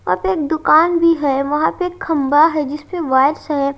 वहां पे एक दुकान भी है वहां पे एक खंबा है जिसमें वाइट्स है।